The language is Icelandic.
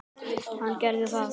Hann gerði það.